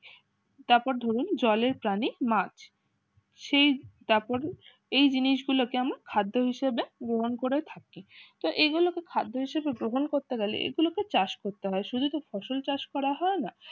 তারপর ধরুন জলের প্রাণী মাছ সেই তারপর এই জিনিস গুলো কেমন খাদ্য হিসেবে গ্রহণ করে থাকি তো এই গুলো খাদ্য হিসাবে ঘ্রাণ করতে হলে এই গুলি কে চাষ করা হয় শুদু তো ফলল চাষ করা হয় না